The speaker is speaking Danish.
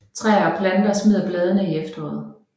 Træer og planter smider bladene i efteråret